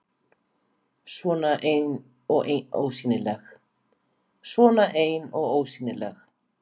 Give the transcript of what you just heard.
Svona ein og ósýnileg.